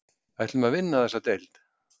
Ætlum að vinna þessa deild